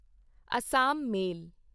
Assam ਮੇਲ